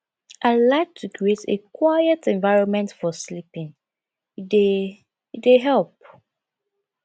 i like to create a quiet environment for sleeping e dey e dey help